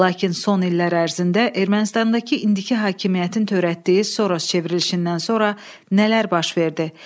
Lakin son illər ərzində Ermənistandakı indiki hakimiyyətin törətdiyi Soros çevrilişindən sonra nələr baş verdi?